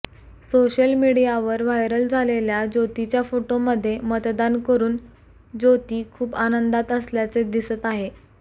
social मीडियावर viral झालेल्या ज्योतीच्या फोटोमध्ये मतदान करून त्योती खूप आनंदात असल्याचे दिसत आहे